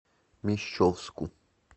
мещовску